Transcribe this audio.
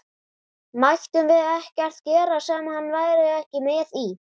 Mættum við ekkert gera sem hann væri ekki með í?